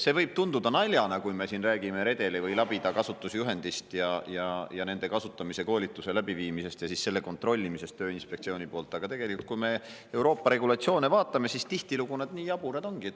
See võib tunduda naljana, kui me siin räägime redeli või labida kasutamise juhendist, nende kasutamise koolituse läbiviimisest ja siis selle kontrollimisest Tööinspektsiooni poolt, aga tegelikult, kui me Euroopa regulatsioone vaatame, siis tihtilugu need nii jaburad ongi.